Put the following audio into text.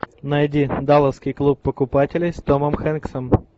найди далласский клуб покупателей с томом хэнксом